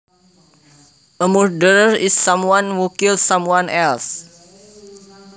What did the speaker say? A murderer is someone who kills someone else